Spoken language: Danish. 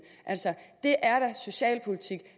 det er da socialpolitik